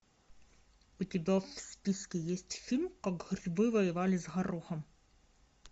у тебя в списке есть фильм как грибы воевали с горохом